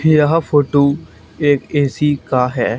यह फोटो एक ए_सी का है।